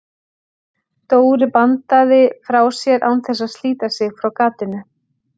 Dóri bandaði frá sér án þess að slíta sig frá gatinu.